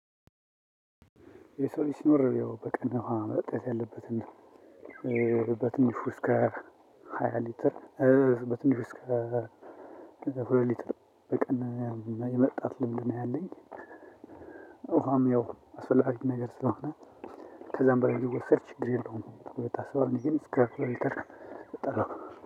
የሰው ልጅ ሲኖር ያው በቀን ውሃ መጠጣት ያለበትን በትንሹ እስከ ሃያ ሌትር በትንሹ እስከ ሁለት ሌትር በቀን የመጠጣት ልምድ ነው ያለኝ። ውሃም ያው አስፈላጊ ነገር ስለሆነ ከዛም በላይ ቢወሰድ ችግር የለውም ተብሎ ይታሰባል። እኔ ግን እስከ ሁለት ሌትር እጠጣለሁ